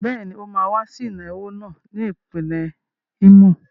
Bẹ́ẹ̀ ni, ó máa wá sí ìnáwó náà ní ìpínlẹ̀ Ímò.